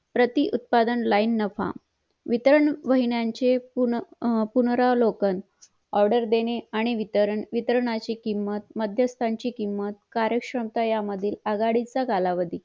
प्रति उत्पादन लाईन नफा वितर महिन्याचे पुनर्वलोकन order देणे आणि वितरण वितरणाची किंमत मध्यस्थानाची किंमत कार्य क्षमता यामधील आघाडीचा कालावधी